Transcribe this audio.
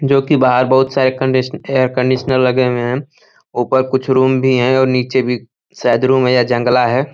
जोकि बाहर बोहोत सारे क कॉन्डी एयर कंडिशनर लगे हुए हैं। ऊपर कुछ रूम भी है और नीचे भी शायद रूम है या जंगला है।